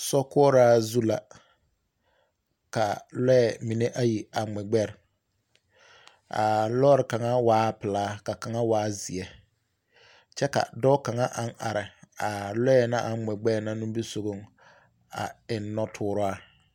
Sokoɔraa zu la ka lɔɛ mine ayi a ŋmɛ gbɛre. a lɔre kaŋa waa pelaa ka kaŋa waa zeɛ. kyɛ ka dɔɔ kaŋa aŋ are a lɔɛ na aŋ ŋmɛ gbɛɛ na nimbisogoŋ a eŋ nɔtooraa.